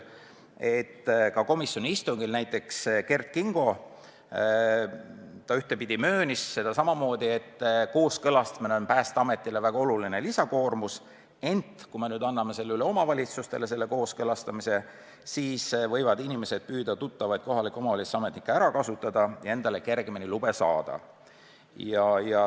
Komisjoni istungil näiteks Kert Kingo möönis, et kooskõlastamine on Päästeametile väga suur lisakoormus ja kui me anname selle üle omavalitsustele, siis võivad inimesed püüda tuttavaid kohaliku omavalitsuse ametnikke ära kasutada ja endale kergemini lube saada.